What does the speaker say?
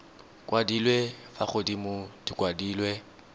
kwadilwe fa godimo di kwadilwe